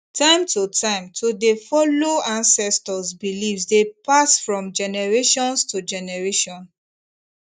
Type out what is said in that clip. time to time to dey follow ancestors beliefs dey pass from generations to generation